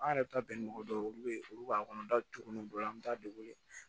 An yɛrɛ bɛ taa bɛn ni mɔgɔ dɔw ye olu bɛ olu b'a kɔnɔ da tugunni bolo an bɛ taa de wele